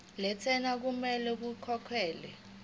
lentela okumele ikhokhekhelwe